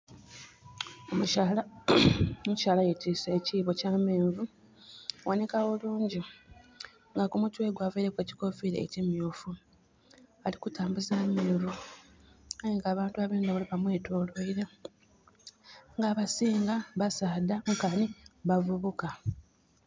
Omukyala yetiise ekibo kya menvu gaboneka bulungi nga kumutwe gwe avaireku ekikofira ekimyufu. Alikutambuza amenvu, aye nga abantu abendha bamwetoloire nga abisinga basaadha nkani bavubuka